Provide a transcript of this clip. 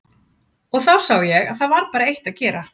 Og þá sá ég að það var bara eitt að gera.